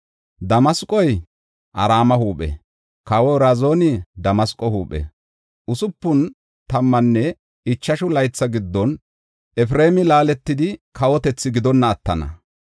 Damasqoy Araame huuphe; kawoy Razini Damasqo huuphe. Usupun tammanne ichashu laytha giddon Efreemi laaletidi kawotethi gidonna attana.